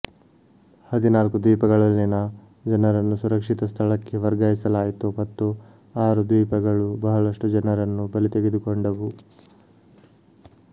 ಹದಿನಾಲ್ಕು ದ್ವೀಪಗಳಲ್ಲಿನ ಜನರನ್ನು ಸುರಕ್ಷಿತ ಸ್ಥಳಕ್ಕೆ ವರ್ಗಾಯಿಸಲಾಯಿತು ಮತ್ತು ಆರು ದ್ವೀಪಗಳು ಬಹಳಷ್ಟು ಜನರನ್ನು ಬಲಿತೆಗೆದುಕೊಂಡವು